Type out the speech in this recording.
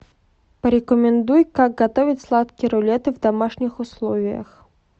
порекомендуй как готовить сладкие рулеты в домашних условиях